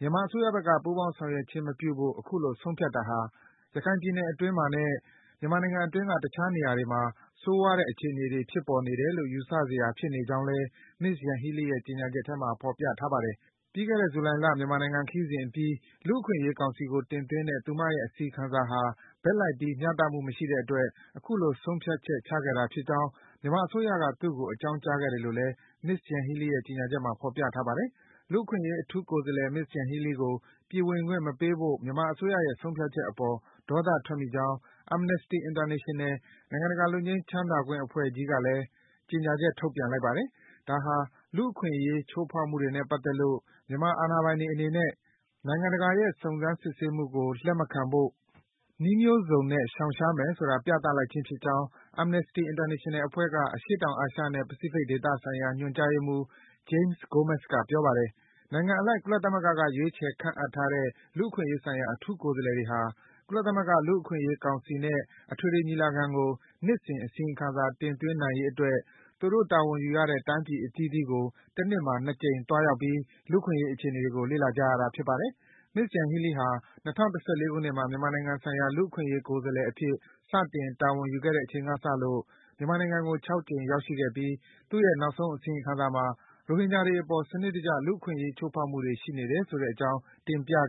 မြန်မာ အစိုးရဘက်က ပူးပေါင်းဆောင်ရွက်ခြင်း မပြုဖို့ အခုလို ဆုံးဖြတ်လိုက်တာဟာ ရခိုင်ပြည်နယ် အတွင်းမှာနဲ့ မြန်မာနိုင်ငံအတွင်းက တခြား နေရာတွေမှာ ဆိုးရွားတဲ့ အခြေအနေတွေ ဖြစ်ပေါ်နေတယ် လို့ ယူဆစရာ ဖြစ်နေကြောင်းလည်း Yanghee Lee ရဲ့ ကြေညာချက်မှာ ဖော်ပြထားပါတယ်။ ပြီးခဲ့တဲ့ ဇူလိုင်လ မြန်မာနိုင်ငံခရီးစဉ်အပြီး ကုလလူ့အခွင့်အရေး ကောင်စီကို တင်သွင်းတဲ့ သူမရဲ့အစီရင်ခံစာဟာ ဘက်လိုက်ပြီး မျှတမှု မရှိတဲ့အတွက် အခုလို ဆုံးဖြတ်ချက် ချခဲ့တာဖြစ်ကြောင်း မြန်မာအစိုးရက သူ့ကို အကြောင်း ကြားခဲ့တယ်လို့လည်း Yanghee Lee ရဲ့ ကြေညာချက်မှာ ဖော်ပြထားပါတယ်။ လူ့အခွင့်အရေး အထူးကိုယ်စားလှယ် Yanghee Lee ကို ပြည်ဝင်ခွင့်မပေးဖို့ မြန်မာအစိုးရ ရဲ့ ဆုံးဖြတ်ချက်အပေါ် ဒေါသထွက်မိကြောင်း Amnesty International နိုင်ငံတကာ လွတ်ငြိမ်းချမ်းသာခွင့်အဖွဲ့ကြီးကလည်း ကြေညာချက်ထုတ်ပြန်လိုက်ပါတယ်။ ဒါဟာ လူ့အခွင့် အရေး ချိုးဖောက်မှုတွေနဲ့ ပတ်သက်လို့ မြန်မာအာဏာပိုင်တွေအနေနဲ့ နိုင်ငံတကာရဲ့ စုံစမ်းစစ်ဆေးမှုကို လက်မခံဖို့ နည်းမျိုးစုံနဲ့ ရှောင်ရှားမယ် ဆိုတာ ပြသလိုက်ခြင်းဖြစ်ကြောင်း Amnesty International အဖွဲ့က အရှေ့တောင်အာရှနဲ့ ပစိဖိတ်ဒေသဆိုင်ရာ ညွန်ကြားရေးမှူး James Gomez က ပြောပါတယ်။ နိုင်ငံအလိုက် ကုလသမဂ္ဂက ရွေးချယ်ခန့်အပ်ထားတဲ့ လူ့အခွင့်အရေးဆိုင်ရာ အထူး ကိုယ်စားလှယ်တွေဟာ ကုလသမဂ္ဂ လူ့အခွင့်အရေး ကောင်စီနဲ့ အထွေထွေ ညီလာခံ တို့ကို နှစ်စဉ် အစီရင်ခံစာ တင်သွင်းနိုင်ရေးအတွက် သူတို့တာဝန်ယူရတဲ့ တိုင်းပြည် အသီးသီးကို တနှစ်မှာ ၂ ကြိမ် သွားရောက်ပြီး လူ့အခွင့်အရေး အခြေအနေတွေကို လေ့လာကြရတာ ဖြစ်ပါတယ်။ Yanghee Lee ဟာ ၂၀၁၄ ခုနှစ်မှာ မြန်မာနိုင်ငံဆိုင်ရာ လူ့အခွင့်အရေး အထူး ကိုယ်စားလှယ် အဖြစ် စတင် တာဝန်ယူခဲ့တဲ့ အချိန်ကစလို့ မြန်မာနိုင်ငံကို ၆ ကြိမ် ရောက်ရှိခဲ့ပြီး သူ့ရဲ့ နောက်ဆုံး အစီရင်ခံစာမှာ ရိုဟင်ဂျာတွေအပေါ် စံနစ်တကျ လူ့အခွင့်အရေး ချိုးဖောက်မှုတွေ ရှိနေတယ်ဆိုတဲ့ အကြောင်း တင်ပြခဲ့